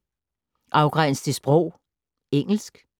Afgræns til sprog: engelsk